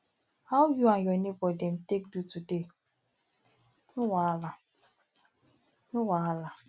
how you and your neighbour dem take do today no wahala no wahala